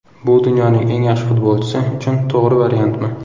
Bu dunyoning eng yaxshi futbolchisi uchun to‘g‘ri variantmi?